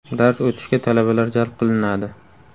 Dars o‘tishga talabalar jalb qilinadi.